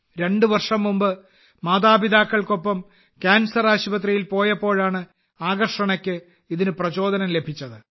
രണ്ടുവർഷം മുമ്പ് മാതാപിതാക്കൾക്കൊപ്പം ക്യാൻസർ ആശുപത്രിയിൽ പോയപ്പോഴാണ് ആകർഷണയ്ക്ക് ഇതിന് പ്രചോദനം ലഭിച്ചത്